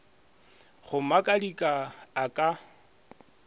go makatika a a ka